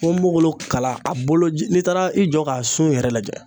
Ponponpogolon kala a bolo ji n'i taara i jɔ k'a sun yɛrɛ lajɛ